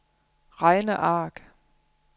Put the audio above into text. regneark